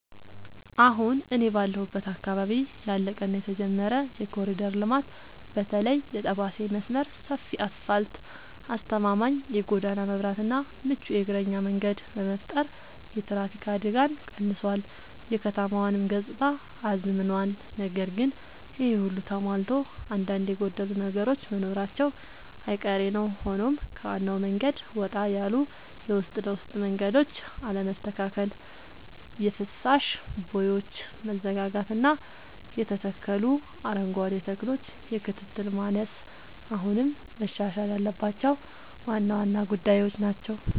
አሁን እኔ ባለሁበት አካባቢ ያለቀ እና የተጀመረ የኮሪደር ልማት (በተለይ የጠባሴ መስመር) ሰፊ አስፋልት: አስተማማኝ የጎዳና መብራትና ምቹ የእግረኛ መንገድ በመፍጠር የትራፊክ አደጋን ቀንሷል: የከተማዋንም ገጽታ አዝምኗል። ነገር ግን ይሄ ሁሉ ተሟልቶ አንዳንድ የጎደሉ ነገሮች መኖራቸው አይቀሬ ነዉ ሆኖም ከዋናው መንገድ ወጣ ያሉ የውስጥ ለውስጥ መንገዶች አለመስተካከል: የፍሳሽ ቦዮች መዘጋጋትና የተተከሉ አረንጓዴ ተክሎች የክትትል ማነስ አሁንም መሻሻል ያለባቸው ዋና ዋና ጉዳዮች ናቸው።